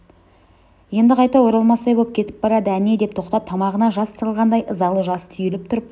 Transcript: енді қайта оралмас боп кетіп барады әне деп тоқтап тамағына жас тығылғандай ызалы жас түйіліп тұрып